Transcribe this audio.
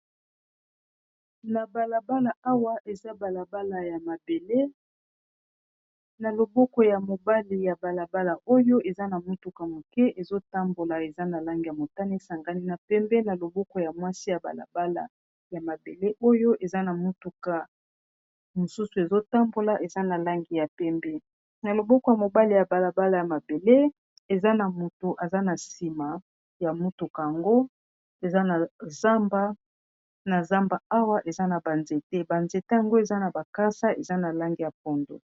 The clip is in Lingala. na balabala awa eza balabala ya mabelena loboko ya mobali ya balabala oyo eza na motuka moke ezotambola eza na langi ya motani esangani na pembe na loboko ya mwasi ya balabala ya mabele oyo eza na motuka mosusu ezotambola eza na langi ya pembe na loboko ya mobali ya balabala ya mabele eza na moto eza na nsima ya motukaangona zamba awa eza na banzete banzete yango eza na bakasa eza na lange ya pondo